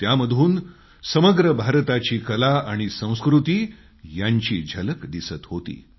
त्यामधून समग्र भारताची कला आणि संस्कृती यांची झलक दिसत होती